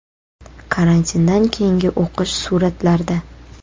Karantindan keyingi o‘qish suratlarda.